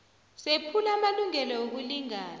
sephula amalungelo wokulingana